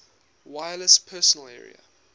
wireless personal area